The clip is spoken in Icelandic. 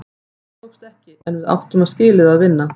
Það tókst ekki, en við áttum skilið að vinna.